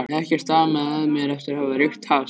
Ekkert amaði að mér eftir að hafa reykt hass.